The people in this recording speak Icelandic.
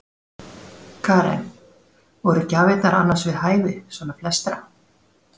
Karen: Voru gjafirnar annars við hæfi, svona flestra?